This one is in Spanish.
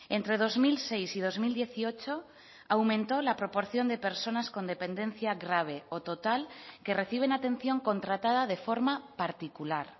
entre dos mil seis y dos mil dieciocho aumento la proporción de personas con dependencia grave o total que reciben atención contratada de forma particular